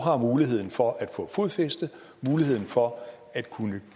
har muligheden for at få fodfæste og muligheden for at kunne